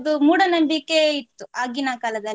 ಮೂಡನಂಬಿಕೆ ಇತ್ತು ಆಗಿನ ಕಾಲದಲ್ಲಿ.